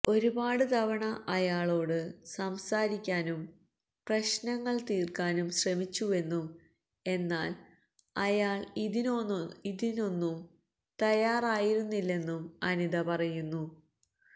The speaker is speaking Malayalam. ഒരുപാട് തവണ അയാളോട് സംസാരിക്കാനും പ്രശ്നങ്ങള് തീര്ക്കാനും ശ്രമിച്ചുവെന്നും എന്നാല് അയാള് ഇതിനൊന്നും തയ്യാറായിരുന്നില്ലെന്നും അനിത പറയുന്നു